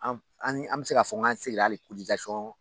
An an an bɛ se ka fɔ n k'an seginna hali